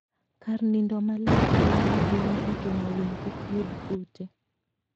Kar nindo maler konyo ahinya e geng'o winy kik yud kute.